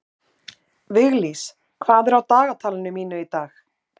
Viglís, hvað er á dagatalinu mínu í dag?